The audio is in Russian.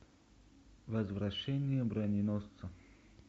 возвращение броненосца